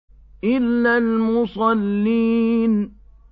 إِلَّا الْمُصَلِّينَ